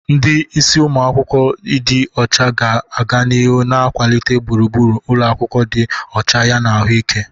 Ndi isi umu akwukwo ịdị ọcha ga-aga n'ihu na-akwalite gburugburu ụlọ akwụkwọ dị ọcha yana ahụike.